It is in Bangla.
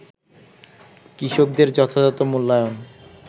কৃষকদের যথাযথ মূল্যায়ন